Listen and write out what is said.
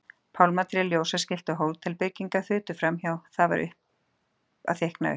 Pálmatré, ljósaskilti og hótelbyggingar þutu framhjá, það var að þykkna upp.